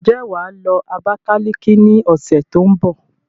Ǹjẹ́ wà á lọ Abakaliki ní ọ̀sẹ̀ tó ń bọ̀?